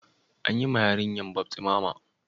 An yi ma yarinyan baftisma ma?